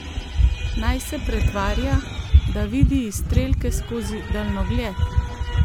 Naj se pretvarja, da vidi izstrelke skozi daljnogled?